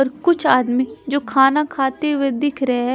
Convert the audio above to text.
अ कुछ आदमी जो खाना खाते हुए दिख रहे--